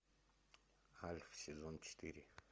альф сезон четыре